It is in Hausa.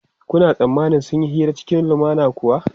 Kuna tsammanin sun yi hira cikin lumana kuwa?